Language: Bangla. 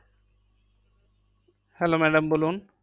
Hello madam বলুন।